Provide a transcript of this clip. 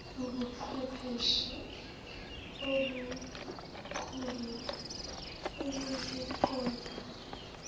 ubuqhwepheshe obukhulu ukuzinqoba